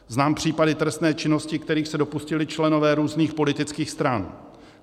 Znám případy trestné činnosti, kterých se dopustili členové různých politických stran.